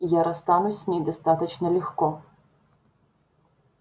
я расстанусь с ней достаточно легко